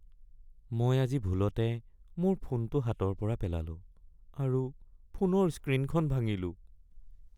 মই আজি ভুলতে মোৰ ফোনটো হাতৰ পৰা পেলালোঁ আৰু ফোনৰ স্ক্ৰীনখন ভাঙিলোঁ।